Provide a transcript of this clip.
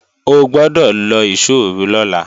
O gbọ́dọ̀ lọ ìṣóòru lọ́la!